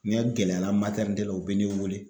N'a gɛlɛyara la u be ne weele